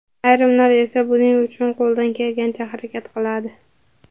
Ayrimlar esa buning uchun qo‘ldan kelgancha harakat qiladi.